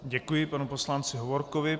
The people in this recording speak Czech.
Děkuji panu poslanci Hovorkovi.